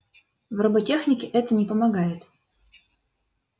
в роботехнике это не помогает